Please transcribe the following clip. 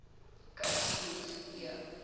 cape skills e